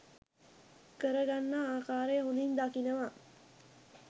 කරගන්නා ආකාරය හොඳින් දකිනවා.